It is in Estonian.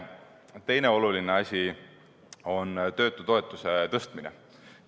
Teine oluline asi on töötutoetuse tõstmine.